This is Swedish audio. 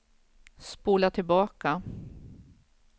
spola tillbaka